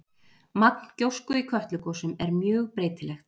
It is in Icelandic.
Magn gjósku í Kötlugosum er mjög breytilegt.